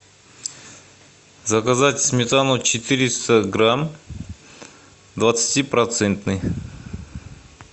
заказать сметану четыреста грамм двадцати процентный